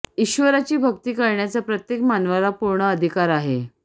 ईश्वराची भक्ती करण्याचा प्रत्येक मानवाला पूर्ण अधिकार आहे